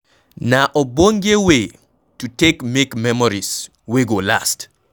Na ogbonge way to take make memories wey go last